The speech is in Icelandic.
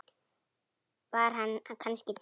Var hann kannski dáinn?